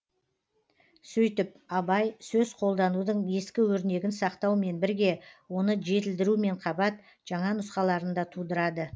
сөйтіп абай сөз қолданудың ескі өрнегін сақтаумен бірге оны жетілдірумен қабат жаңа нұсқаларын да тудырады